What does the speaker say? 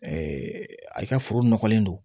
a ka foro nɔgɔlen don